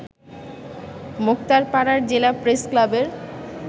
মোক্তারপাড়ার জেলা প্রেসক্লাবের